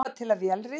Lifa til að vélrita?